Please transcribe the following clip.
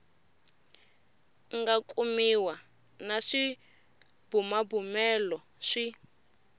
nga kumiwa na swibumabumelo swi